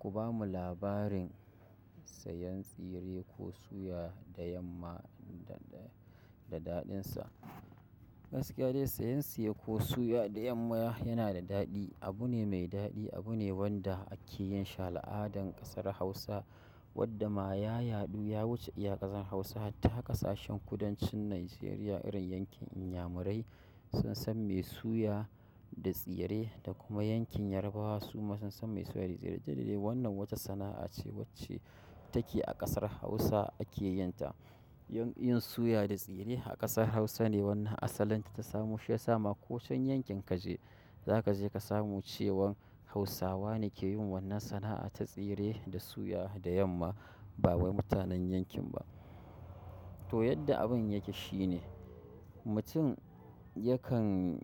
Ku bamu labarin sayan tsire ko suya da yamma da, da daɗinsa. Gaskiya dai siyan ƙosai ko suya da yamma yana da daɗi abu ne mai daɗi. Abu ne wanda ake yin shi al'adan ƙasar Hausa wanda ma ya yaɗu ya wuce ƙasar Hausa hatta ƙasashen kudancin Nigeria. Irin yankin Inyamurai sun san mai suya da tsire da kuma yankin Yarbawa su ma sun san mai suya da tsire. Dalili wannan wata sana'a ce wacce take a ƙasar Hausa ake yin ta. Yin, yin suya da tsire a ƙasar Hausa ne wannan asalin ta tasamu. Shi ya sa ma ko waccan yankin ka je za ka je ka samu cewan Hausawa ne ke yin wannan sana'a ta tsire da suya da yamma ba wai mutanen yankin ba. To yadda abun yake shine mutum yakan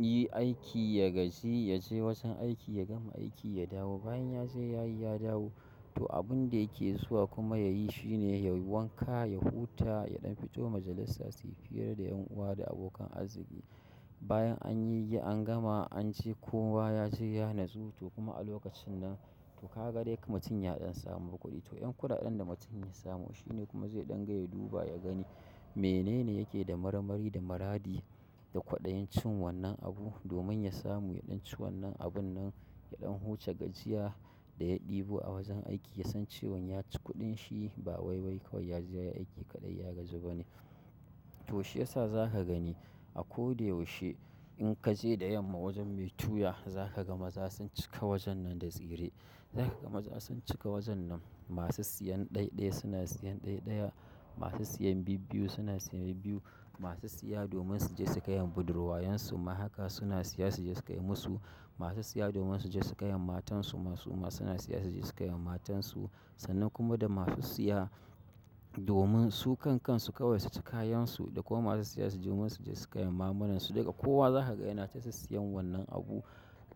yi aiki, ya gaji, ya je wajen aiki, ya gama aiki, ya dawo. Bayan ya je ya yi ya dawo. To abun da yake zuwa kuma ya yi shi ne ya wanka, ya huta, ya ɗan fito majalissa su yi fira da 'yan uwa da abokan arziki. Bayan an yi yi an gama an ci kowa ya je ya natsu. To kuma a lokacin nan to ka ga dai ka mutum ya ɗan samu kuɗi. To ƴan kuɗaɗen da mutum ya samu shi ne kuma zai ɗan ga ya duba, ya gani menene yake da marmari da maradi da kwaɗayin cin wannan abu domin ya samu ya ɗan ci wannan abun nan ya ɗan huce gajiya da ya ɗibo a wajen aiki. Ya san cewan ya ci kuɗin shi ba wai wai kawai ya je ya yi aiki kaɗai ya gaji ba ne. To shi ya sa za ka gani a ko da yaushe in ka je da yamma wajen mai tuya za ka ga maza sun cika wajen nan da tsire. Za ka ga maza sun cika wajen nan. Masu siyan ɗaiɗai suna siyan ɗaiɗaya. Masu siyan biyu biyu suna siyan biyu biyu. Masu siya domin su je su kai wa budurwayen su ma haka suna siya su je su kai musu. Masu siya domin su je su kai wa matan su ma su ma suna siya su je su kai wa matan su. Sannan kuma da masu siya domin su kan kansu kawai su ci kayan su da kuma masu siya domin su je su kai wa mamannan su. Daga kowa za ka ga yana ta sissiyan wannan abu.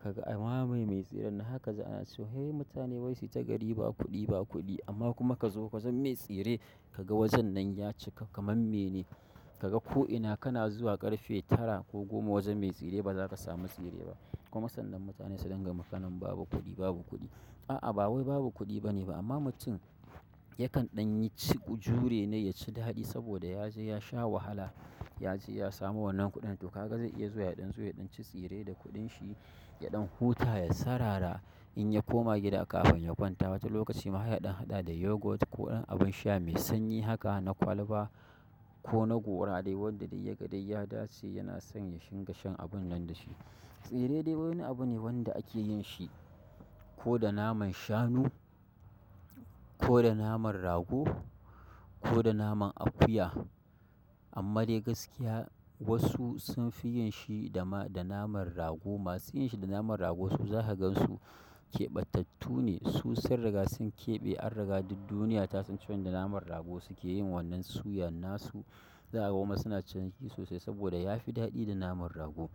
Ka ga a mamaye mai tsiren. Haka za a na cewa sai mutane wai su yi ta gari ba kuɗi, ba kuɗi amma kuma ka zo ka gan me tsire ka ga wajen nan ya cika kamar me ne. Ka ga ko'ina kana zuwa ƙarfe tara ko goma wajen mai tsire ba za ka samu tsire ba. Kuma sannan mutane suna dangama kanen babu kuɗi, babu kuɗi. A'a ba wai babu kuɗi ba ne ba amma mutum yakan ɗan yi ci jure ne ya ci daɗi saboda ya je ya sha wahala. Ya je ya samu wannan kuɗin. To ka ga zai iya zuwa ya ɗan zuwa ya ɗan ci tsire da kuɗin shi, ya ɗan huta, ya sarara in ya koma gida kafin ya kwanta. Wata lokaci ma ya ɗan haɗa da yogurt ko ɗan abin sha mai sanyi haka na kwalba ko na gora dai wanda dai ya ga dai ya dace yana son ya shiga shan abun nan da shi. Tsire dai wani abu ne wanda ake yin shi ko da naman shanu ko da naman rago ko da naman akuya. Amma dai gaskiya wasu sun fi yin shi da ma, da naman rago. Masu yin shi da naman rago su za ka gan su keɓatattu ne. Su sun riga sun keɓe an riga duk duniya ta san cewan da naman rago suke yin wannan suyan. Na su za'a kuma suna cin shi sosai saboda ya fi daɗi da naman rago.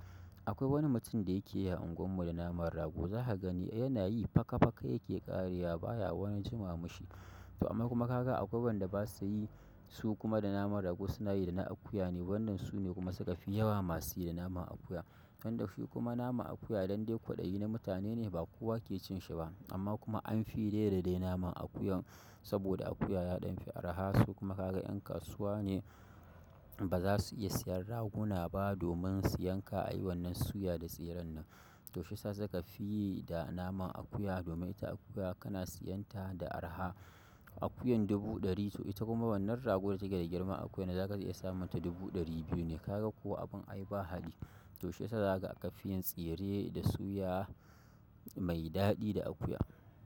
Akwai wani mutum da yake yi a unguwar mu da naman rago. Za ka gani yana yi faka-faka yake ƙarewa baya wani jima ma shi. To amma kuma ka ga akwai wanda ba sa yi su kuma da naman rago suna yi da na akuya ne. Wannan su ne kuma suka fi yawa masu yi da naman akuya. Nan da shi kuma naman akuya dan dai kwaɗayi na mutane ne ba kowa ke cin shi ba. Amma kuma an fi da naman akuyan saboda akuya ya ɗan fi araha su kuma ka ga yan kasuwa ne ba za su iya siyan raguna ba domin su yanka a yi wannan suya da tsiren nan. Shi yasa suka fi yi da naman akuya saboda ita akuya kana siyan ta da araha. Akuyan dubu ɗari to ita kuma wannan ragon da take da girman akuya na za ka iya samun ta dubu ɗari biyu ne. Ka ga ko abin ai ba haɗi. To shi ya sa za ka fi yin tsire da suya mai daɗi da akuya.